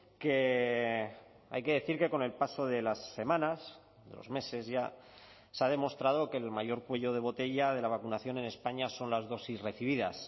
que hay que decir que con el paso de las semanas de los meses ya se ha demostrado que el mayor cuello de botella de la vacunación en españa son las dosis recibidas